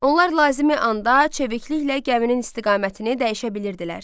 Onlar lazımi anda çevikliklə gəminin istiqamətini dəyişə bilirdilər.